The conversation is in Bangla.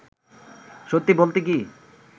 সত্যি বলতে কী